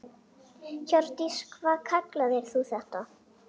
Hjördís: Hvað kallar þú þetta?